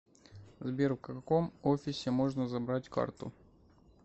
сбер в каком офисе можно забрать карту